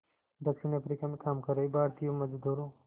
दक्षिण अफ्रीका में काम कर रहे भारतीय मज़दूरों